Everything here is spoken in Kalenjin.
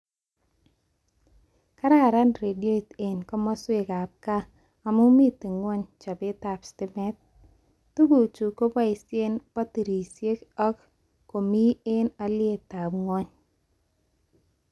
Kararan redioit eng komoswekab gaa amu miten ngwony chobetab stimet, tuguk chu koboishee batirishek ak komi eng alietab ngwony